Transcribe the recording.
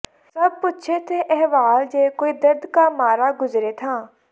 ਸਬ ਪੂਛੇਂ ਥੇ ਅਹਵਾਲ ਜੋ ਕੋਈ ਦਰਦ ਕਾ ਮਾਰਾ ਗੁਜ਼ਰੇ ਥਾ